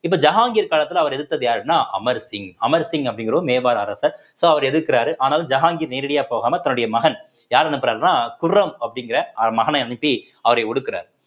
இப்ப ஜஹாங்கீர் காலத்துல அவரை எதிர்த்தது யாருன்னா அமர் சிங் அமர் சிங் அப்படிங்கிற ஒரு மேவார் அரசர் so அவர் எதிர்க்கிறாரு ஆனால் ஜஹாங்கீர் நேரடியா போகாமல் தன்னுடைய மகன் யார் அனுப்புறாருன்னா குரம் அப்படிங்கிற அவர் மகனை அனுப்பி அவரை ஒடுக்கிறார்